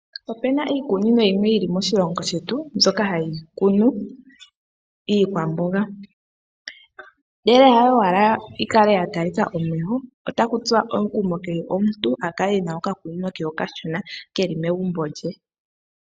Opena iikunino yimwe yili moshilongo shetu, mbyoka hayi kunu iikwamboga. Ndele hayo owala yikale ya talika omeho, otaku tsuwa omukumo kehe omuntu, akale e na okakunino ke okashona keli megumbo lye.